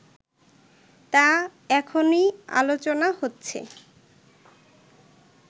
তা এখনই আলোচনা হচ্ছে